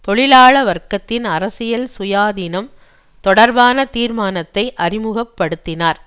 தொழிலாள வர்க்கத்தின் அரசியல் சுயாதீனம் தொடர்பான தீர்மானத்தை அறிமுக படுத்தினார்